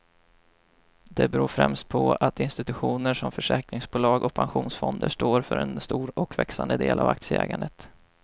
Det beror främst på att institutioner som försäkringsbolag och pensionsfonder står för en stor och växande del av aktieägandet.